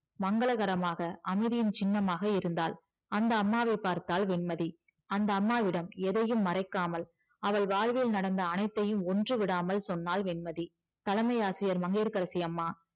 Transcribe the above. மங்களகரமாக அமைதியின் சின்னமாக இருந்தால் அந்த அம்மாவை பார்த்தால் வெண்மதி அந்த அம்மாவிடம் எதையும் மறைக்காமல் அவள் வாழ்வில் நடந்த அனைத்தையும் ஒன்று விடாமல் சொன்னால் வெண்மதி தலைமை ஆசிரியர் மங்கையகரசி அம்மா